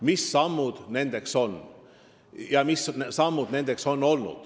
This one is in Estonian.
Mis sammud need on ja mis samme on juba astutud?